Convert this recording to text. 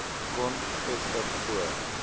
kon vestig voor